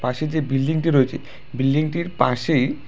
পাশে যে বিল্ডিংটি রয়েছে বিল্ডিংটির পাশেই--